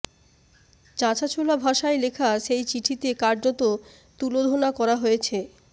চাঁছাছোলা ভাষায় লেখা সেই চিঠিতে কার্যত তুলোধনা করা হয়েছে